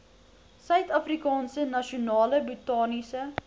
suidafrikaanse nasionale botaniese